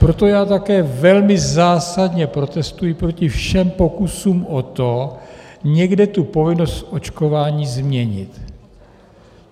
Proto já také velmi zásadně protestuji proti všem pokusům o to, někde tu povinnost očkování změnit.